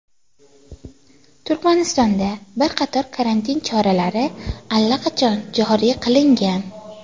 Turkmanistonda bir qator karantin choralari allaqachon joriy qilingan.